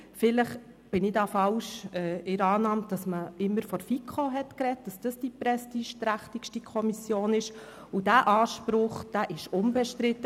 Vielleicht liege ich hier falsch in der Annahme, dass man bisher immer von der FiKo als die prestigeträchtigste Kommission gesprochen hat, und dieser Anspruch war unbestritten.